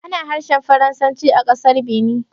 Ana harshen Faransanci a ƙasar Benin